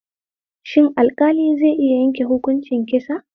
Shin alƙali zai iya yanke hukuncin kisa?